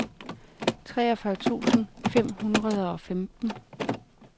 treogfyrre tusind fem hundrede og femten